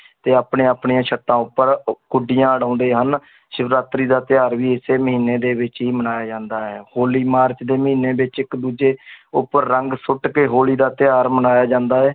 ਤੇ ਆਪਣੀ ਆਪਣੀਆਂ ਸੱਤਾਂ ਉੱਪਰ ਗੁੱਡੀਆਂ ਉਡਾਉਂਦੇ ਹਨ ਸਿਵਰਾਤਰੀ ਦਾ ਤਿਉਹਾਰ ਵੀ ਇਸੇ ਮਹੀਨੇ ਦੇ ਵਿੱਚ ਹੀ ਮਨਾਇਆ ਜਾਂਦਾ ਹੈ ਹੌਲੀ ਮਾਰਚ ਦੇ ਮਹੀਨੇ ਵਿੱਚ ਇੱਕ ਦੂਜੇ ਉੱਪਰ ਰੰਗ ਸੁੱਟ ਕੇ ਹੋਲੀ ਦਾ ਤਿਉਹਾਰ ਮਨਾਇਆ ਜਾਂਦਾ ਹੈ l